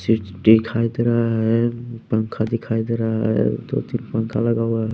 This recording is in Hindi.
दिखाई दे रहा है पंखा दिखाई दे रहा है दो-तीन पंखा लगा हुआ है।